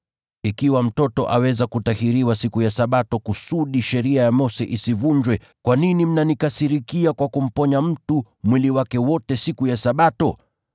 Ikiwa mtoto aweza kutahiriwa siku ya Sabato kusudi sheria ya Mose isivunjwe, kwa nini mnanikasirikia kwa kumponya mtu mwili wake wote siku ya Sabato?